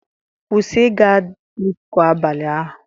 Kwụsị ịga disko abalị ahu